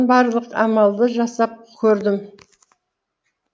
барлық амалды жасап көрдім